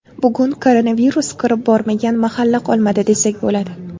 Bugun koronavirus kirib bormagan mahalla qolmadi, desak bo‘ladi.